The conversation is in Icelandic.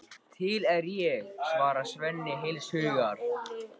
Til er ég, svarar Svenni heils hugar.